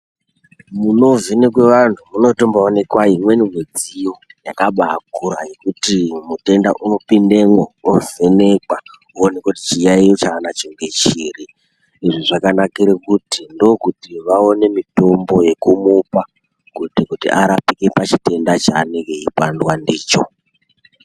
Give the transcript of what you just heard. Munovhenekwa vantu munoonekwa imweni midziyo yakabakura yekuti mitenda unooindamwo wovhenekwa woonekwa chiyayiyi ndechiri izvi zvakanakira ndokuti vaone mitombo yekujupa kuti arambe kuita chitenda chanenge achuramba ndicho.